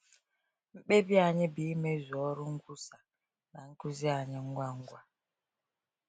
Mkpebi anyị bụ imezu ọrụ nkwusa na nkuzi anyị ngwa ngwa.